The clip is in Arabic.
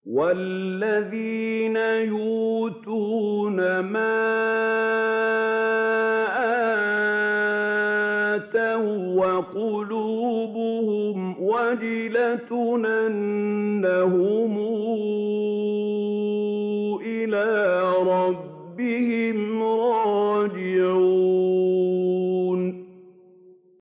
وَالَّذِينَ يُؤْتُونَ مَا آتَوا وَّقُلُوبُهُمْ وَجِلَةٌ أَنَّهُمْ إِلَىٰ رَبِّهِمْ رَاجِعُونَ